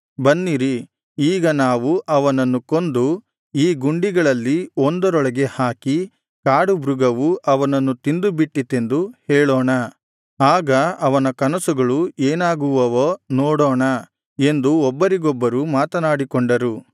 ಬನ್ನಿರಿ ಈಗ ನಾವು ಅವನನ್ನು ಕೊಂದು ಈ ಗುಂಡಿಗಳಲ್ಲಿ ಒಂದರೊಳಗೆ ಹಾಕಿ ಕಾಡುಮೃಗವು ಅವನನ್ನು ತಿಂದು ಬಿಟ್ಟಿತೆಂದು ಹೇಳೋಣ ಆಗ ಅವನ ಕನಸುಗಳು ಏನಾಗುವವೋ ನೋಡೋಣ ಎಂದು ಒಬ್ಬರಿಗೊಬ್ಬರು ಮಾತನಾಡಿಕೊಂಡರು